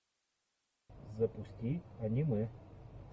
запусти аниме